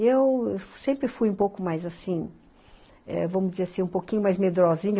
E eu sempre fui um pouco mais, assim, eh, vamos dizer assim, um pouquinho mais medrosinha.